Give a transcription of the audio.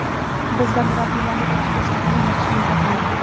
Bizda murabbiylarni o‘qitish tizimi yaxshi yo‘lga qo‘yilgan.